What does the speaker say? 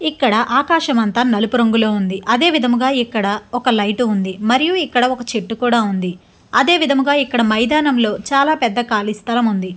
ఇక్కడ ఆకాశమంతా నలుపు రంగులో ఉంది. అదేవిధముగా ఇక్కడ ఒక లైట్ ఉంది మరి ఇక్కడ ఒక చెట్టు కూడా ఉంది. అదేవిధముగా ఇక్కడ మైదానంలో చాలా పెద్ద ఖాళీ స్థలం ఉంది.